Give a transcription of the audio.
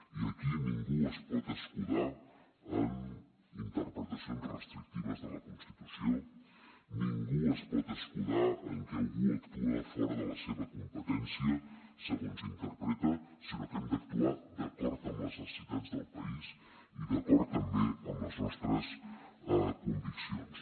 i aquí ningú es pot escudar en interpretacions restrictives de la constitució ningú es pot escudar en que algú actua fora de la seva competència segons interpreta sinó que hem d’actuar d’acord amb les necessitats del país i d’acord també amb les nostres conviccions